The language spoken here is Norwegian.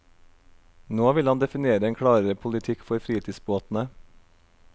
Nå vil han definere en klarere politikk for fritidsbåtene.